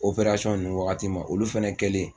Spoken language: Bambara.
ninnu wagati ma, olu fɛnɛ kɛlen